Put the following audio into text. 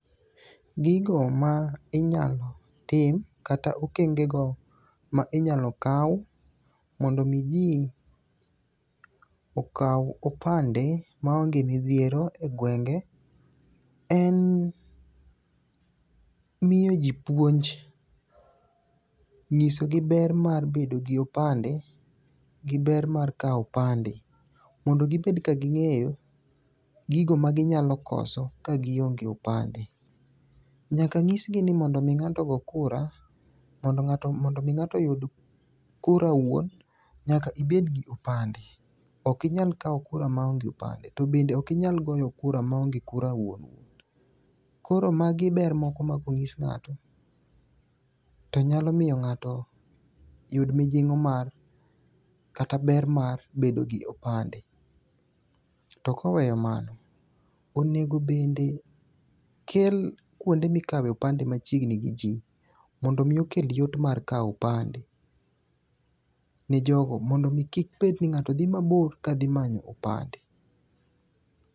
Gigo ma inyalo tim kata okenge go ma inyalo kaw mondo mi jii okwa opande ma onge midhiero e gwenge en miyo jii puonj, nyiso gi ber mar bedo gi opande, gi ber mar kaw opande mondo gibed ka ging'eyo gigo maginyalo koso ka gionge opande. Nyaka nyisgi ni mondo ng'ato go kura mondo mi ng'ato yud kura wuon, nyaka ibed gi opande. Ok inyal kaw kura ma onge opande. To bende ok inyal goyo kura maonge kura wuon wuon. Koro magi ber moko ma konyis ng'ato to nyalo miyo ng'ato yud mijing'o mar kata ber mar bedo gi opande. To koweyo mano, onego bende kel kuonde mikawe opande machiegni gio jii mondo omi okel yot mar kaw opande ne jogo mondo mi kik bed ni ng'ato dhi mabor ka dhi manyo opande.